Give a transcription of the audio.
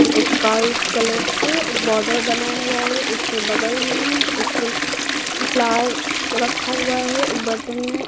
एक white colour से border बना हुआ है उसके बगल में एक फ्लावर रखा हुआ है एक बर्तन में।